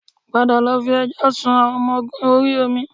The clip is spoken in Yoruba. Padà lọ fi ẹjọ́ sun àwọn ọmọ ogun orí omi